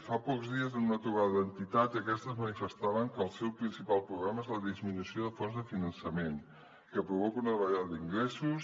fa pocs dies en una trobada d’entitats aquestes manifestaven que el seu principal problema és la disminució de fonts de finançament que provoca una davallada d’ingressos